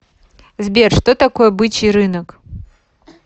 сбер что такое бычий рынок